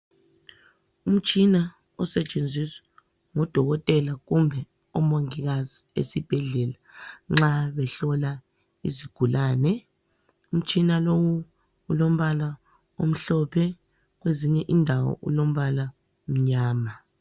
Umtshina osetshenziswa ngodokotela kumbe omongikazi esibhedlela nxa behlola isigulane. Umtshina lowu ulombala omhlophe kwezinye indawo ulombala omnyama.